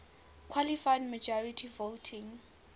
qualified majority voting